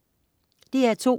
DR2: